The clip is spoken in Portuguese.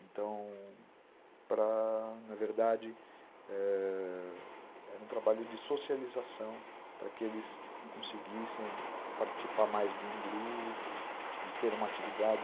Então, para, na verdade, é... era um trabalho de socialização para que eles conseguissem participar mais de um grupo, de ter uma atividade